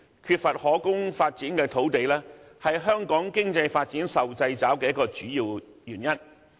缺乏可供發展的土地，是香港經濟發展受掣肘的一個主要原因。